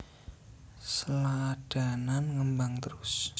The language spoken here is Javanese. Sladanan ngembang trus